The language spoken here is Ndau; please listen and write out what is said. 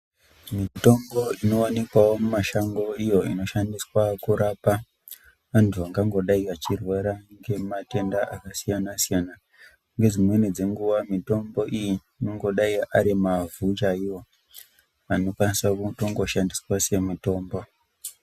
Mitombo inowanikwawo mumashango iyo inoshandiswa kurapa vantu vangangodai vachirwara ngematenda akasiyana-siyana. Ngedzimweni dzenguwa mitombo iyi inongodai ari mavhu chaiwo anokwanisa kutongoshandiswa semitombo.